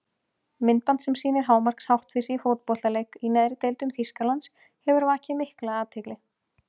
Myndband sem sýnir hámarks háttvísi í fótboltaleik í neðri deildum Þýskalands hefur vakið mikla athygli.